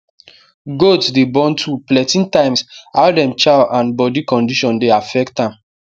goats dey born two plenty times how dem chow and body condition dey affect am